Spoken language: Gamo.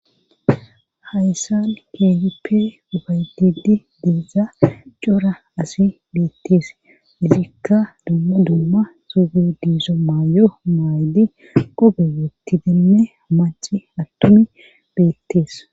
hayssan keehipe ufayetid diiza cora asi beettees isikka dumma dumma suugu diiso maay7o maaydi qobe wootti demme maci attumi beettees